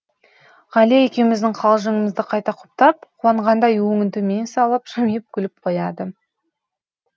ғалия екеуміздің қалжыңымызды кайта құптап қуанғандай өңін төмен салып жымиып күліп қояды